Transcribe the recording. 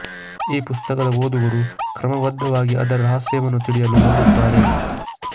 ಈ ಪುಸ್ತಕದ ಓದುಗರು ಕ್ರಮಬದ್ದವಾಗಿ ಅದರ ರಹಸ್ಯವನ್ನು ತಿಳಿಯಲು ನೋಡುತ್ತಾರೆ